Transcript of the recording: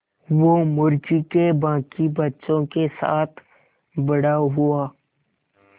वो मुर्गी के बांकी बच्चों के साथ बड़ा हुआ